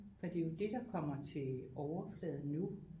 For det er jo det der kommer til overfladen nu